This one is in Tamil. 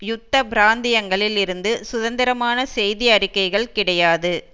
யுத்த பிராந்தியங்களில் இருந்து சுதந்திரமான செய்தி அறிக்கைகள் கிடையாது